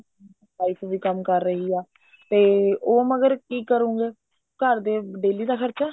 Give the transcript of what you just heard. wife ਵੀ ਕੰਮ ਕਰ ਰਹੀ ਆ ਤੇ ਉਹ ਮਗਰ ਕੀ ਕ੍ਰੁੰਗੇ ਘਰ ਦੇ daily ਦਾ ਖਰਚਾ